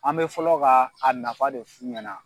An bɛ fɔlɔ kaa a nafa de f'u ɲɛna.